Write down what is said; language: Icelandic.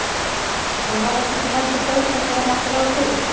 En var þetta ekki heldur betra en gera mátti ráð fyrir?